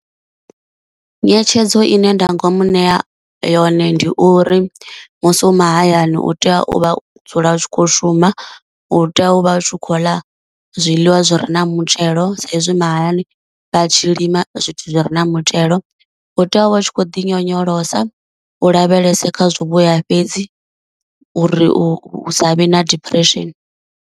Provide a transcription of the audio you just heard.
Nyetshedzo ine nda ngomu nea yone ndi uri musi u mahayani u tea u vha u dzula u tshi kho shuma, u tea u vha u khou ḽa zwiḽiwa zwi re na muthelo sa izwi mahayani vha tshi lima zwithu zwi re na muthelo, u tea u vha u tshi khou ḓi nyonyolosa, u lavhelese kha zwivhuya fhedzi uri u sa vhe na depression.